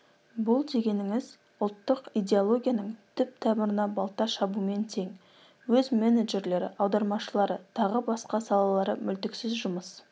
бұл дегеніңіз ұлттық идеологияның түп-тамырына балта шабумен тең өз менеджерлері аудармашылары тағы басқа салалары мүлтіксіз жұмыс